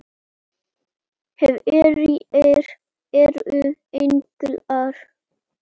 Hverjir eru englar?